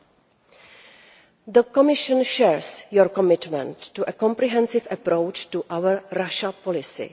Thirdly, the Commission shares your commitment to a comprehensive approach to our Russia policy.